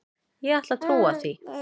Ég ætla að trúa því.